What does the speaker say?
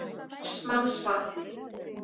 Vestmannsvatni